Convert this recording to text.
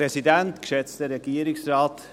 Kann ihn jemand einloggen?